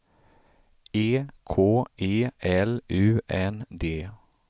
E K E L U N D